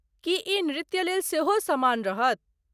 की ई नृत्यलेल सेहो समान रहत?